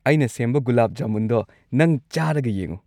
ꯑꯩꯅ ꯁꯦꯝꯕ ꯒꯨꯂꯥꯕ ꯖꯥꯃꯨꯟꯗꯣ ꯅꯪ ꯆꯥꯔꯒ ꯌꯦꯡꯉꯣ꯫